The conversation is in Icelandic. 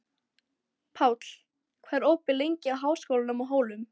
Páll, hvað er opið lengi í Háskólanum á Hólum?